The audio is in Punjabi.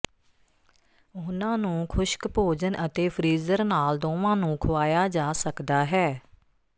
ਉਨ੍ਹਾਂ ਨੂੰ ਖੁਸ਼ਕ ਭੋਜਨ ਅਤੇ ਫ਼੍ਰੀਜ਼ਰ ਨਾਲ ਦੋਵਾਂ ਨੂੰ ਖੁਆਇਆ ਜਾ ਸਕਦਾ ਹੈ